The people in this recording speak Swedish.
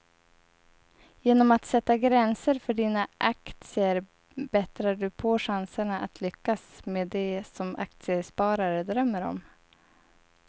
Genom att sätta gränser för dina aktier bättrar du på chanserna att lyckas med det som aktiesparare drömmer om.